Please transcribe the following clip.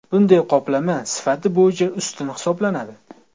Bunday qoplama sifati bo‘yicha ustun hisoblanadi.